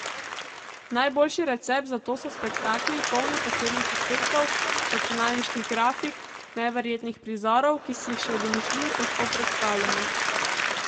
Najboljši recept za to so spektakli, polni posebnih efektov, računalniških grafik, neverjetnih prizorov, ki si jih še v domišljiji težko predstavljamo.